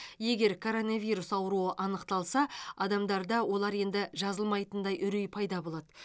егер коронавирус ауруы анықталса адамдарда олар енді жазылмайтындай үрей пайда болады